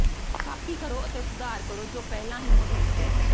copy ਕਰੋ ਅਤੇ ਸੁਧਾਰ ਕਰੋ ਜੋ ਪਹਿਲਾਂ ਹੀ ਮੌਜੂਦ ਹੈ